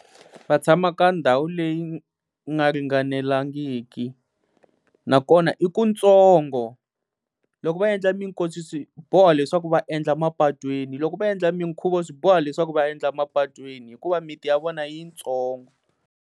Va tshama ka ndhawu leyi nga ringanelangiki nakona i kutsongo, loko va endla minkosi swi boho leswaku va endla mapatwini, loko va endla minkhuvo swi boho leswaku va endla mapatwini hikuva miti ya vona yitsongo.